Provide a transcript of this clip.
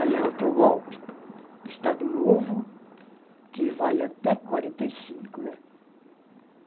Aí é outro golpe, Estado Novo, que vai até quarenta e cinco, né?